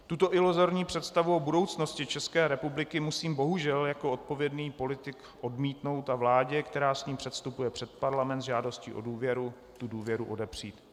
Tuto iluzorní představu o budoucnosti České republiky musím bohužel jako odpovědný politik odmítnout a vládě, která s ní předstupuje před Parlament s žádostí o důvěru, tu důvěru odepřít.